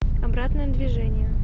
обратное движение